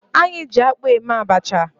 Anyị ji akpụ eme abacha